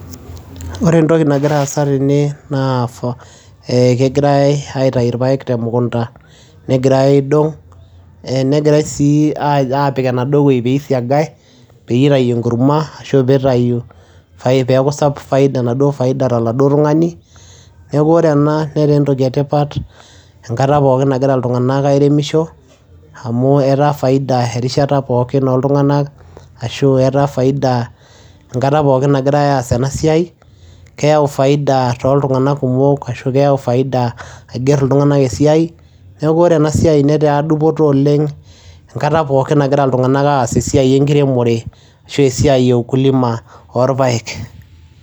Ore entoki nagira aasa tene naa ee kegirai aitayu irpaek te mukunda negirai aidong', ee negirai sii apik enaduo wuei piisiagai peyie itayu enkurma ashu piitayu fai peeku sapuk enaduo faida to laduo tung'ani. Neeku ore ena netaa entoki e tipat enkata pookin nagira iltung'anak airemisho amu etaa faida erishata pookin ooltung'anak ashu etaa faida enkata pookin nagirai aas ena siai, keyau faida toltung'anak kumok ashu keyau faida aiger iltung'anak esiai. Neeku ore ena siai netaa dupoto oleng' enkata pookin nagira iltung'anak aas esiai enkiremore ashu esiai e ukulima oorpaek.